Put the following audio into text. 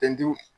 Ten